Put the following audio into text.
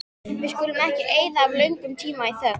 Við skulum ekki eyða of löngum tíma í þögn.